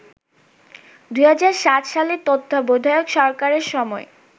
২০০৭ সালে তত্ত্বাবধায়ক সরকারের সময়